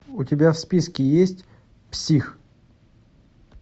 у тебя в списке есть псих